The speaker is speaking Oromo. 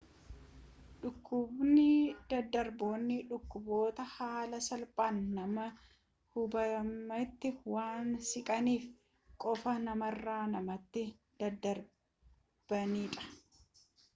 dhukkuboonni daddarboon dhukkuboota haala salphaan nama hubametti waan siqaniif qofa namarra namatti dadddarbanidha